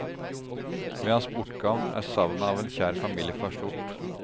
Ved hans bortgang er savnet av en kjær familiefar stort.